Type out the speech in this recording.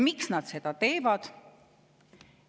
Miks nad seda teevad?